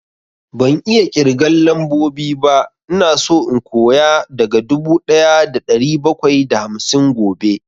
Ban iya ƙirgan lambobi ba, ina so in koya daga dubu ɗaya da ɗari bakwai da hamsin gobe